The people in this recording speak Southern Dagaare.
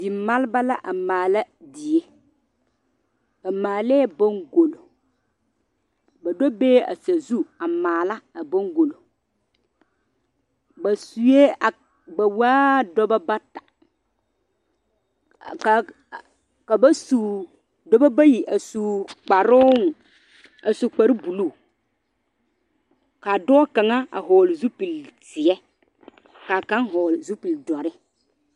Dimaaleba a maala die ba maale baŋgulo ba do be la a sazu a maala a boŋgulo ba waa dɔbɔ bata dɔbɔ bayi a su kparre buluu ka dɔɔ kaŋa a vɔgli zupili zee ka kaŋa vɔgle zupili dɔre.